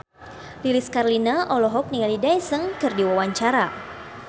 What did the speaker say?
Lilis Karlina olohok ningali Daesung keur diwawancara